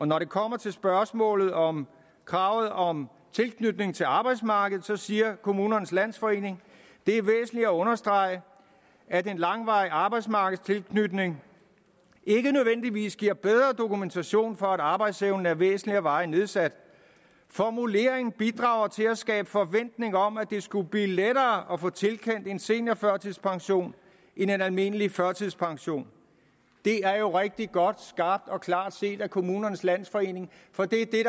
når det kommer til spørgsmålet om kravet om tilknytning til arbejdsmarkedet siger kommunernes landsforening det er væsentligt at understrege at en langvarig arbejdsmarkedstilknytning ikke nødvendigvis giver bedre dokumentation for at arbejdsevnen er væsentligt og varigt nedsat formuleringen bidrager til at skabe forventning om at det skulle blive lettere at få tilkendt en seniorførtidspension end en almindelig førtidspension det er jo rigtig godt skarpt og klart set af kommunernes landsforening for det er det